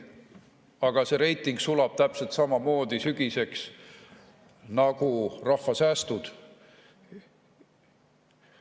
Aga see reiting sulab sügiseks täpselt samamoodi nagu rahval säästud.